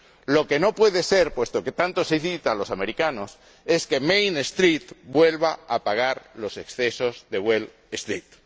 Lo que no puede ser, puesto que tanto se cita a los americanos, es que Main Street vuelva a pagar los excesos de Wall Street